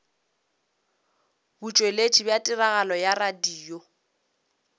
botšweletši bja tiragatšo ya radio